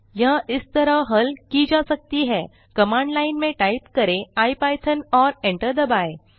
यह इस तरह हल की जा सकती है कमांड लाइन में टाइप करें इपिथॉन और enter दबाएँ